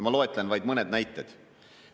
Ma loetlen vaid mõned näited.